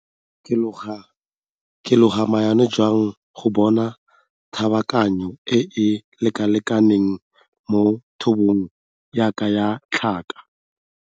Ke loga maano jang go bona kabakanyo e e lekalekaneng mo thobong ya ka ya tlhaka?